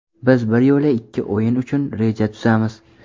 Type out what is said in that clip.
Biz bir yo‘la ikki o‘yin uchun reja tuzamiz.